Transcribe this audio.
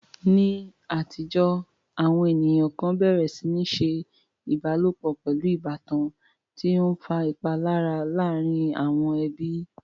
Ní àtijọ́, àwọn ènìyàn kan bẹ̀rẹ̀ sí ní ṣe ìbálòpọ̀ pẹ̀lú ìbátan, tí ó ń fa ìpalára láàárín àwọn ẹbí.